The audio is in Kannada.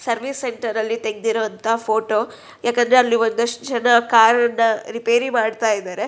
ಸರ್ವೀಸ್ ಸೆಕ್ಟರ್ ಅಲ್ಲಿ ತೆಗ್ದಿರೋಂತಾ ಫೋಟೋ . ಯಾಕಂದ್ರೆ ಅಲ್ಲಿ ಒಂದಷ್ಟು ಜನ ಕಾರನ್ನ ರಿಪೇರಿ ಮಾಡ್ತಾ ಇದ್ದಾರೆ.